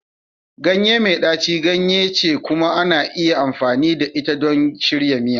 Ganye mai ɗaci ganye ce kuma ana iya amfani da ita don shirya miya.